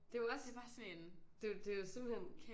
Det er jo også det er jo simpelthen